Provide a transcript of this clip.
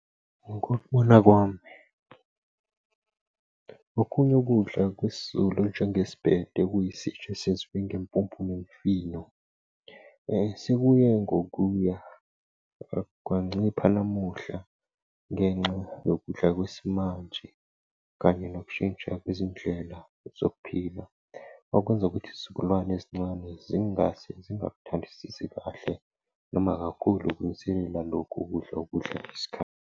Ngokubona kwami okunye ukudla kwesiZulu njenge sibhede okuyisitsha esinjenge mpuphu nemifino. Sekuye ngokuya kwancipha namuhla ngenxa yokudla kwesimanje kanye nokushintsha kwezindlela zokuphila, okwenza ukuthi isizukulwane esincane zingase zingakuthandisisi kahle noma kakhulu kunisendela lokhu, ukudla, ukudla, isikhathi,